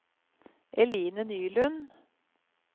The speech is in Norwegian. Eline Nylund